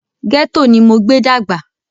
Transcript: Gẹ́tò ní mo gbé dàgbà.